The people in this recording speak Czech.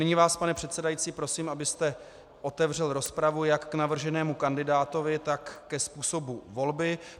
Nyní vás pane předsedající prosím, abyste otevřel rozpravu jak k navrženému kandidátovi, tak ke způsobu volby.